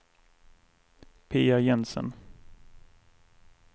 Pia Jensen